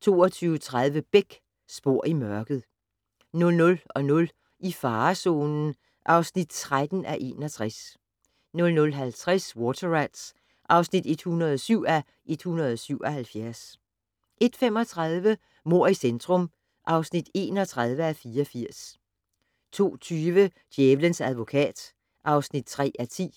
22:30: Beck: Spor i mørket 00:00: I farezonen (13:61) 00:50: Water Rats (107:177) 01:35: Mord i centrum (31:84) 02:20: Djævelens advokat (3:10)